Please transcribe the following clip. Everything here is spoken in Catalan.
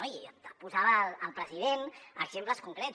i posava el president exemples concrets